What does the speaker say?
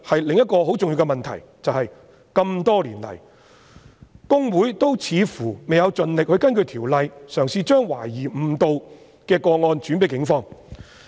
另一個很重要的問題是，這麼多年來，公會似乎未有盡力根據《條例》，嘗試將懷疑誤導的個案轉介警方。